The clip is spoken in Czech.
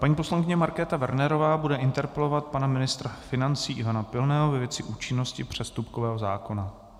Paní poslankyně Markéta Wernerová bude interpelovat pana ministra financí Ivana Pilného ve věci účinnosti přestupkového zákona.